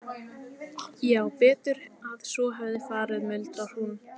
Já, betur að svo hefði farið, muldrar hún.